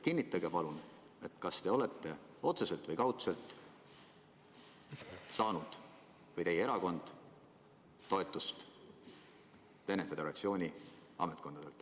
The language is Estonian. Kinnitage palun, kas teie olete otseselt või kaudselt saanud või on teie erakond saanud toetust Venemaa Föderatsiooni ametkondadelt.